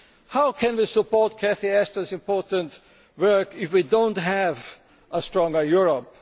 How can we support Baroness Ashton's important work if we do not have a stronger Europe?